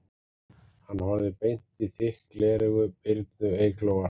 Hann horfði beint í þykk gleraugu Birnu Eyglóar